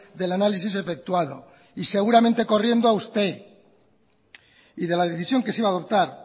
del análisis efectuado y seguramente corriendo a usted y de la decisión que se iba a adoptar